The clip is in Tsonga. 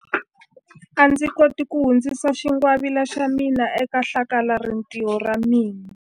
A ndzi koti ku hundzisa xingwavila xa mina eka hlakalarintiho ra ra mina.